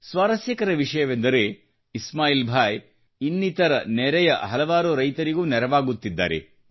ಸ್ವಾರಸ್ಯಕರ ವಿಷಯವೆಂದರೆ ಇಸ್ಮಾಯಿಲ್ ಭಾಯಿ ನೆರೆಯ ಇನ್ನಿತರ ಹಲವಾರು ರೈತರಿಗೂ ನೆರವಾಗುತ್ತಿದ್ದಾರೆ